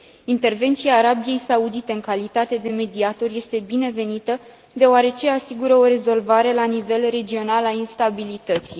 Intervenția Arabiei Saudite în calitate de mediator este binevenită, deoarece asigură o rezolvare la nivel regional a instabilității.